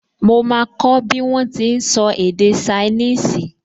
Mo máa kọ́ bí wọ́n ti n sọ èdè ṣainíìsì